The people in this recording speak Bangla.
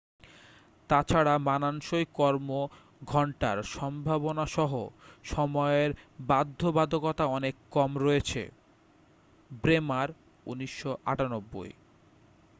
তাছাড়া মানানসই কর্ম ঘন্টার সম্ভাবনাসহ সময়ের বাধ্যবাধকতা অনেক কম রয়েছে। ব্রেমার ১৯৯৮